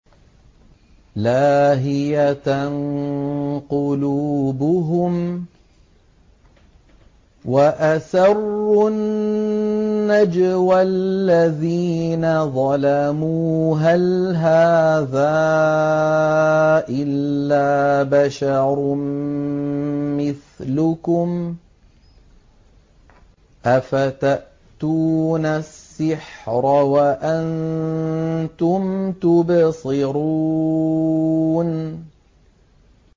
لَاهِيَةً قُلُوبُهُمْ ۗ وَأَسَرُّوا النَّجْوَى الَّذِينَ ظَلَمُوا هَلْ هَٰذَا إِلَّا بَشَرٌ مِّثْلُكُمْ ۖ أَفَتَأْتُونَ السِّحْرَ وَأَنتُمْ تُبْصِرُونَ